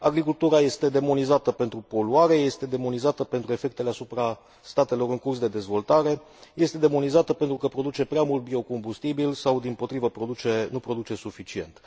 Agricultura este demonizată pentru poluare, este demonizată pentru efectele asupra statelor în curs de dezvoltare, este demonizată pentru că produce prea mult biocombustibil, sau, dimpotrivă, nu produce suficient.